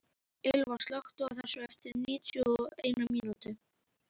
Ylva, slökktu á þessu eftir níutíu og eina mínútur.